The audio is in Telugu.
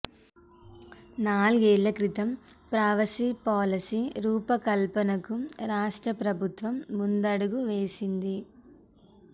నాలుగేళ్ల క్రితం ప్రవాసీ పాలసీ రూపకల్పనకు రాష్ట్ర ప్రభుత్వం ముందడుగు వేసింది